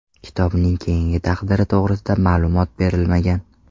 Kitobning keyingi taqdiri to‘g‘risida ma’lumot berilmagan.